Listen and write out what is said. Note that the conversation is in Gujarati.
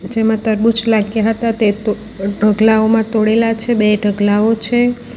જેમાં તરબૂચ લાગ્યા હતા તે તો અ ઢગલાઓમાં તોડેલા છે બે ઢગલાઓ છે.